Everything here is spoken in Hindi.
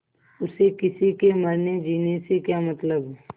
उसे किसी के मरनेजीने से क्या मतलब